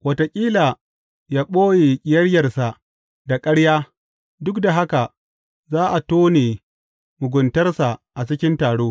Wataƙila ya ɓoye ƙiyayyarsa da ƙarya, duk da haka za a tone muguntarsa a cikin taro.